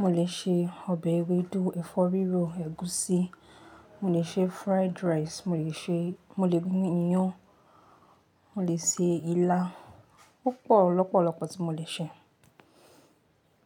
mo lè ṣe ọbẹ̀ ewédú, ẹ̀fọ́ rírò, ẹ̀gúsí, mo lè ṣe fried rice, mo lè se-- mo lè gún iyán, mo lè ṣe ilá, púpọ̀ lọ́pọ̀lọ́pọ̀ tí mo lè ṣe.